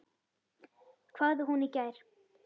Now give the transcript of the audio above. hváði hún í gær.